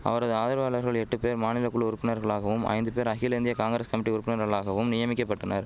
அவரது ஆதரவாளர்கள் எட்டு பேர் மாநிலகுழு உறுப்பினர்களாகவும் ஐந்து பேர் அகில இந்திய காங்கிரஸ் கமிட்டி உறுப்பினர்களாகவும் நியமிக்கபட்டனர்